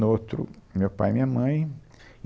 No outro, meu pai e minha mãe.